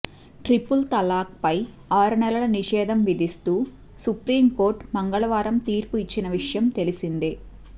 triple తలాఖ్పై ఆరు నెలలు నిషేధం విధిస్తూ సుప్రీంకోర్టు మంగళవారం తీర్పు ఇచ్చిన విషయం తెలిసిందే